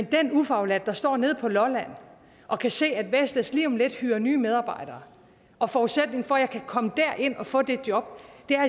den ufaglærte der står nede på lolland og kan se at vestas lige om lidt hyrer nye medarbejdere og forudsætningen for at man kan komme derind og få det job